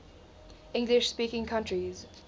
english speaking countries